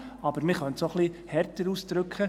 Aber man könnte es auch ein wenig härter ausdrücken: